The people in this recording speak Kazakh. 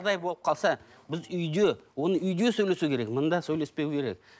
болып қалса біз үйде оны үйде сөйлесу керек мында сөйлеспеу керек